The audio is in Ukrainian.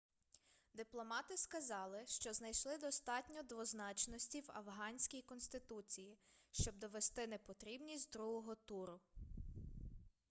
дипломати сказали що знайшли достатньо двозначності в афганській конституції щоб довести непотрібність другого туру